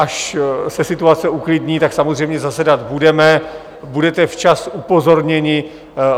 Až se situace uklidní, tak samozřejmě zasedat budeme, budete včas upozorněni.